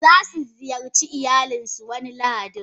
Zasu ziyarci iyalinsu wani lahadin.